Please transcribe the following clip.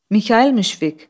Mikayıl Müşfiq.